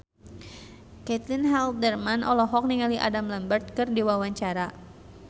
Caitlin Halderman olohok ningali Adam Lambert keur diwawancara